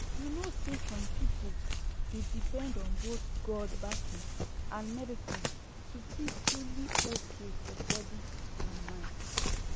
you know say some people dey depend on both god backing and medicine to feel truly okay for body and mind